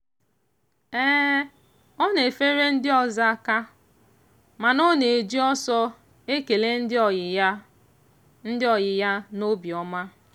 ọ na-efere ndị ọzọ aka mana ọ na-eji ọsọ ekele ndị ọyị ya ndị ọyị ya n'obiọma.